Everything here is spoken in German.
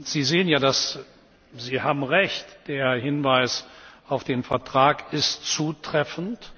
Sie haben recht Der Hinweis auf den Vertrag ist zutreffend.